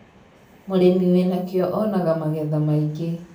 mũrĩmĩ wĩna kĩio onanga magetha maĩngĩ